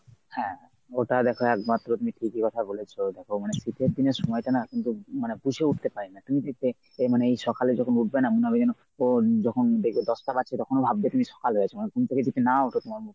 হ্যাঁ ওটা দেখ একমাত্র তুমি ঠিকই কথা বলেছো, দেখ শীতের দিনের সময়টা না কিন্তু মানে বুঝে উঠতে পারি না তুমি দেখবে এ মানে এই সকালে যখন উঠবে না মনে হবে যেন ও যখন দেখবে দশটা বাজছে তখনও লাগবে তুমি সকাল হয়েছে মানে ঘুম থেকে যদি না ওঠ তোমর